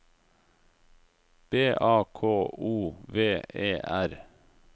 B A K O V E R